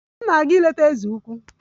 M na-aga ileta eze ukwu